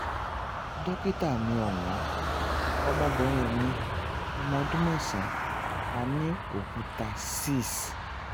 dókítà mi ọ̀wọ́n ọmọbìnrin mi ọmọ ọdún mẹ́sàn-án a ní òkúta six.